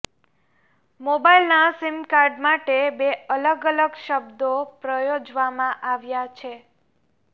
મોબાઇલના SIM card માટે બે અલગ અલગ શબ્દો પ્રયોજવામાં આવ્યા છે